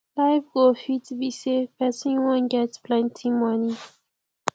life goal fit be sey person wan get plenty moni